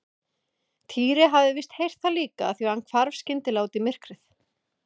Týri hafði víst heyrt það líka því hann hvarf skyndilega út í myrkrið.